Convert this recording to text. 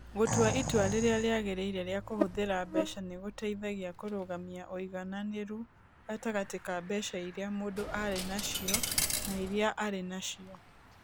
Gũtua itua rĩrĩa rĩagĩrĩire rĩa kũhũthĩra mbeca nĩ gũteithagia kũrũgamia ũigananĩru gatagatĩ ka mbeca iria mũndũ arĩ nacio na iria arĩ nacio.